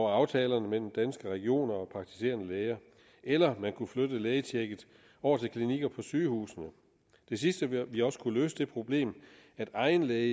aftalerne mellem danske regioner og praktiserende læger eller ved at man kunne flytte lægetjekket over til klinikker på sygehusene det sidste ville også kunne løse det problem at egen læge